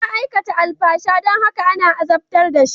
Ya aikata alfasha don haka ana azabtar da shi.